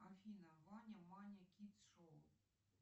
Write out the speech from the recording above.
афина ваня маня кидс шоу